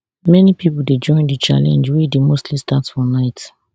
many pipo dey join di challenge wey dey mostly start for night